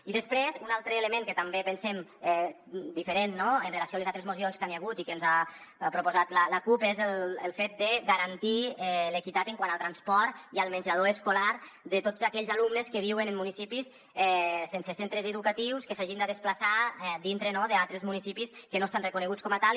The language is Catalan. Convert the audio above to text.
i després un altre element que també pensem diferent amb relació a les altres mocions que hi ha hagut i que ens ha proposat la cup és el fet de garantir l’equitat quant al transport i al menjador escolar de tots aquells alumnes que viuen en municipis sense centres educatius que s’hagin de desplaçar dintre no d’altres municipis que no estan reconeguts com a tals